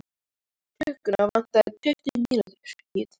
Klukkuna vantaði tuttugu mínútur í tvö.